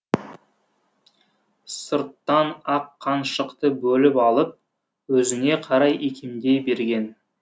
сырттан аққаншықты бөліп алып өзіне қарай икемдей берген